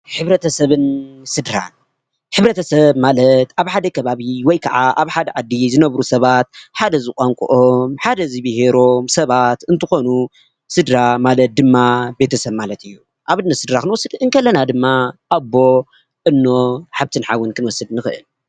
ሕብረተሰብን ስድራን ሕ/ሰብ ማለት ኣብ ሓደ ከባቢ ወይ ክዓ ኣብ ሓደ ዓዲ ዝነብሩ ሰባት ሓደ ዝቋንቁኦም፣ ሓደ ዝቢሄሮም ሰባት እንትኮኑ፣ ስድራ ማለት ድማ ቤተሰብ ማለት እዩ፡፡ ኣብነት ስድራ ክንወስድ ከለና ድማ ኣቦ፣ እኖ፣ ሓፍትን ሓውን ክንወስድ ንክእል ኢና፡፡